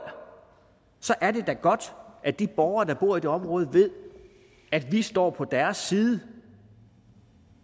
så er det da godt at de borgere der bor i det område ved at vi står på deres side